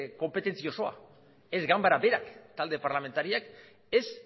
konpetentzi osoa ez ganbara berak talde parlamentariak ez